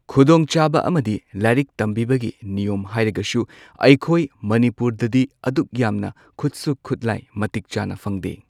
ꯈꯨꯗꯣꯡꯆꯥꯕ ꯑꯃꯗꯤ ꯂꯥꯏꯔꯤꯛ ꯇꯝꯕꯤꯕꯒꯤ ꯅꯤꯌꯣꯝ ꯍꯥꯏꯔꯒꯁꯨ ꯑꯩꯈꯣꯏ ꯃꯅꯤꯄꯨꯔꯗꯗꯤ ꯑꯗꯨꯛꯌꯥꯝꯅ ꯈꯨꯠꯁꯨ ꯈꯨꯠꯂꯥꯏ ꯃꯇꯤꯛ ꯆꯥꯅ ꯐꯪꯗꯦ꯫